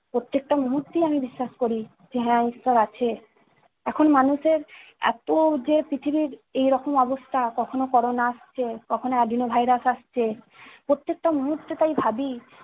প্রত্যেকটা মুহূর্তেই আমি বিশ্বাস করি যে- হ্যা, ঈশ্বর আছে। এখন মানুষের এত যে পৃথিবীর এই রকম অবস্থা কখনো corona আসছে কখনো adino virus আসছে, প্রত্যেকটা মুহূর্তে তাই ভাবি-